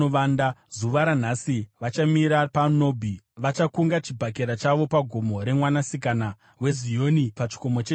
Zuva ranhasi vachamira paNobhi; vachakunga chibhakera chavo pagomo remwanasikana weZioni, pachikomo cheJerusarema.